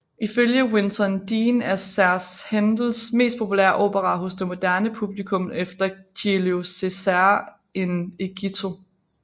Ifølge Winton Dean er Serse Händels mest populære opera hos det moderne publikum efter Giulio Cesare in Egitto